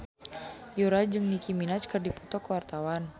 Yura jeung Nicky Minaj keur dipoto ku wartawan